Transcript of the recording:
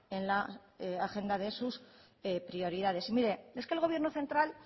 en la agenda de sus prioridades mire es que el gobierno central